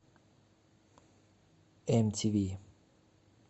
нтв